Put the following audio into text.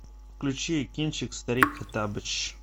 включи кинчик старик хоттабыч